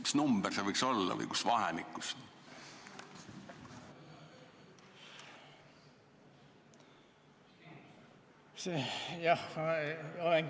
Mis number see võiks olla või kus vahemikus?